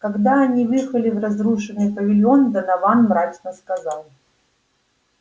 когда они въехали в разрушенный павильон донован мрачно сказал